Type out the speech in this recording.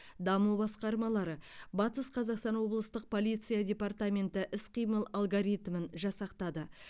даму басқармалары батыс қазақстан облыстық полиция департаменті іс қимыл алгоритмін жасақтады